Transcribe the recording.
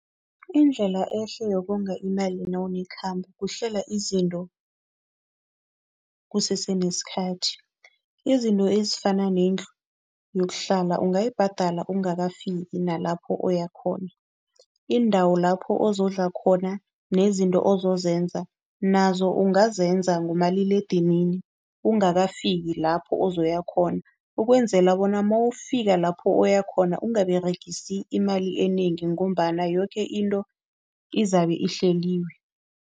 Indlela ehle yokonga imali nawunekhambo kuhlela izinto kusese nesikhathi. Izinto ezifana nendlu yokuhlala ungayibhadela ungakafiki nalapho oyakhona. Iindawo lapho ozodla khona nezinto ozozenza nazo ungazenza ngomaliledinini ungakafiki lapho ozoya khona. Ukwenzela bona mawufika lapho oyakhona ungaberegisi imali enengi ngombana yoke into izabe ihleliwe.